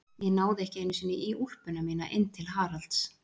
Ég náði ekki einu sinni í úlpuna mína inn til Haralds.